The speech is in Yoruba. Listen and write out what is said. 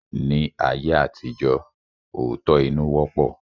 Ní ayé àtijọ́, òótọ́-inú wọ́pọ̀